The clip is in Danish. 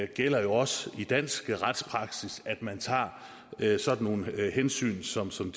gælder jo også i dansk retspraksis at man tager sådan nogle hensyn som som